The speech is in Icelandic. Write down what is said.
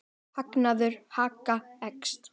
Hagnaður Haga eykst